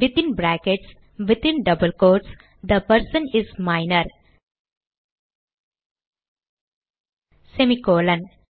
within brackets within double quotes the person is minor semi colon